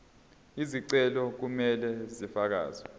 izicelo kumele zifakelwe